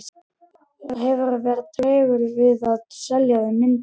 Hefurðu verið tregur við að selja þeim myndir?